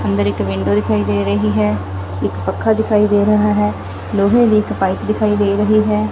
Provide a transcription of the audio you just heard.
ਅੰਦਰ ਇੱਕ ਵਿੰਡੋ ਦਿਖਾਈ ਦੇ ਰਹੀ ਹੈ ਇੱਕ ਪੱਖਾ ਦਿਖਾਈ ਦੇ ਰਹਾ ਹੈ ਲੋਹੇ ਦੀ ਇੱਕ ਪਾਈਪ ਦਿਖਾਈ ਦੇ ਰਹੀ ਹੈ।